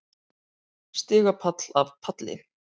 Stigapall af palli.